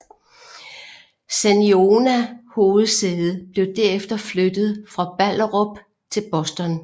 Saniona hovedsæde blev derefter flyttet fra Ballerup til Boston